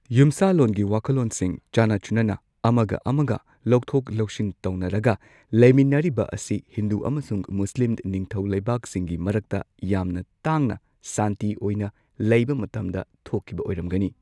ꯌꯨꯝꯁꯥꯂꯣꯟꯒꯤ ꯋꯥꯈꯜꯂꯣꯟꯁꯤꯡ ꯆꯥꯟꯅ ꯆꯨꯟꯅꯅ ꯑꯃꯒ ꯑꯃꯒ ꯂꯧꯊꯣꯛ ꯂꯧꯁꯤꯟ ꯇꯧꯅꯔꯒ ꯂꯩꯃꯤꯟꯅꯔꯤꯕ ꯑꯁꯤ ꯍꯤꯟꯗꯨ ꯑꯃꯁꯨꯡ ꯃꯨꯁꯂꯤꯝ ꯅꯤꯡꯊꯧ ꯂꯩꯕꯥꯛꯁꯤꯡꯒꯤ ꯃꯔꯛꯇ ꯌꯥꯝꯅ ꯇꯥꯡꯅ ꯁꯥꯟꯇꯤ ꯑꯣꯏꯅ ꯂꯩꯕ ꯃꯇꯝꯗ ꯊꯣꯛꯈꯤꯕ ꯑꯣꯏꯔꯝꯒꯅꯤ꯫